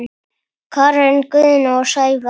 Karen Guðna og Sævars